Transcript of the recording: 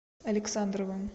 александровым